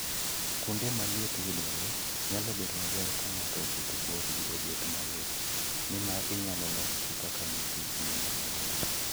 Kuonde ma liet yudoree, nyalo bedo maber ka ngato oketo borgi obed mayot, nimar inyalo lokgi kaka nyithi gweno medore.